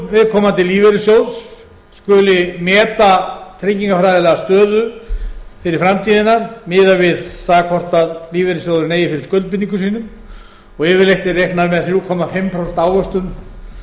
viðkomandi lífeyrissjóðs skuli meta tryggingafræðilega stöðu fyrir framtíðina miðað við það hvort lífeyrissjóðurinn eigi fyrir skuldbindingum sínum og yfirleitt er reiknað með þrjú og hálft prósent ávöxtun